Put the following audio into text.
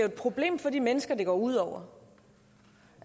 et problem for de mennesker det går ud over